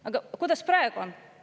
Aga kuidas praegu on?